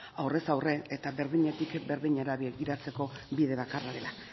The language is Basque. aurrez aurre eta berdinetik berdinera begiratzeko bide bakarra dela